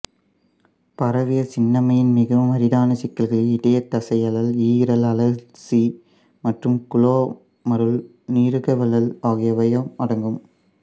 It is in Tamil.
பரவிய சின்னம்மையின் மிகவும் அரிதான சிக்கல்களில் இதயதசையழல் ஈரல் அழற்சி மற்றும் குளோமருல நீரகவழல் ஆகியவையும் அடங்கும்